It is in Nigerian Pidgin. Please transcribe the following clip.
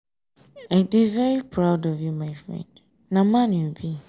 i dey very proud of you my friend na man you be.